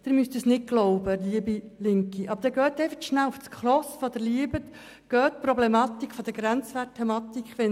Sie müssen es nicht glauben, liebe Linke, aber dann gehen Sie einfach kurz zur SKOS, sie Sie lieben, und lesen Sie über die Grenzwertproblematik des EFB.